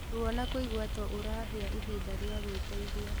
Ruo na kuigua to ũrahia ihinda rĩa gwĩteithia